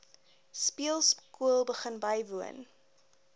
speelskool begin bywoon